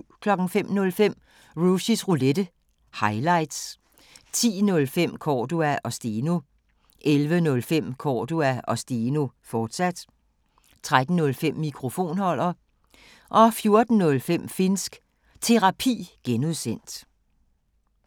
05:05: Rushys Roulette – highlights 10:05: Cordua & Steno 11:05: Cordua & Steno, fortsat 13:05: Mikrofonholder 14:05: Finnsk Terapi (G)